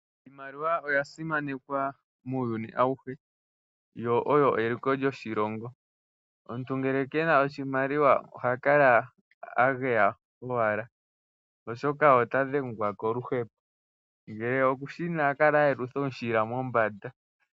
Iimaliwa oya simanekwa muuyuni auhe, yo oyo eliko lyoshilongo . Omuntu ngele kena oshimaliwa oha kala ageya owala, oshoka ota dhengwa koluhepo. Ngele okushina oha kala ayelutha omushila mombanda.